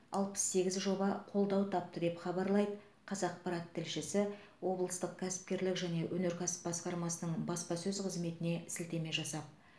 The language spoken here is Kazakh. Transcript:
алпыс сегіз жоба қолдау тапты деп хабарлайды қазақпарат тілшісі облыстық кәсіпкерлік және өнеркәсіп басқармасының баспасөз қызметіне сілтеме жасап